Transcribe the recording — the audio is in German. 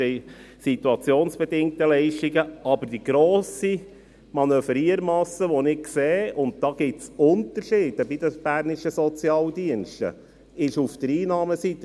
Es gibt einen gewissen Spielraum bei den SIL, aber die grosse Manövriermasse, die ich sehe – und da gibt es Unterschiede bei den bernischen Sozialdiensten –, ist auf der Einnahmenseite.